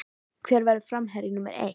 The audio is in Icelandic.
Hver verður framherji númer eitt?